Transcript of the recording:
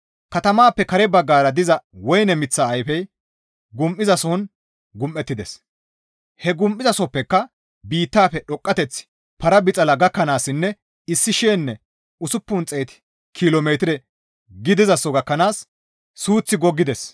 Katamaappe kare baggara diza woyne miththa ayfe gum7izasohon gum7ettides; he gum7izasohozappeka biittafe dhoqqateththi para bixala gakkanaassinne issi shiyanne usuppun xeet kilo metire gidizaso gakkanaas suuththi goggides.